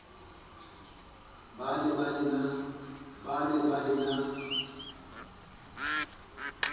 ba ne ba e na